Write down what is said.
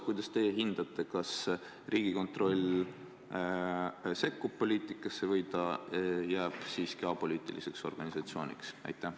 Kuidas te hindate, kas sellises olukorras Riigikontroll sekkub poliitikasse või ta jääb siiski apoliitiliseks organisatsiooniks?